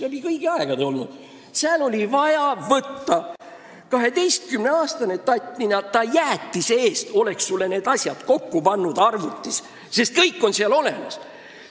Seal oleks vaja olnud võtta üks 12-aastane tattnina, kes oleks jäätise eest need asjad arvutis kokku pannud, sest kõik on seal olemas.